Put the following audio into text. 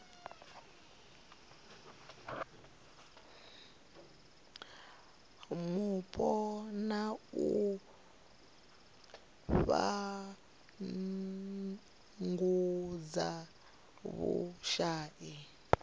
mupo na u fhungudza vhushai